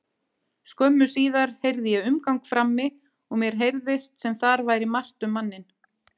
Skömmu síðar heyrði ég umgang frammi og mér heyrðist sem þar væri margt um manninn.